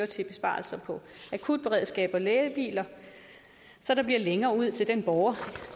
til besparelser på akutberedskabet og lægebiler så der bliver længere ud til den borger